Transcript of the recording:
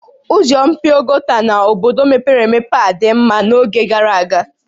Ụzọ mpio gota n'obodo mepere emepe a dị mma n'oge gara aga?